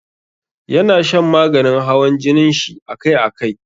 Ya na shan maganin hawan jinin shi akai akai.